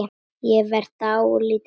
Ég verð dálítið hrædd.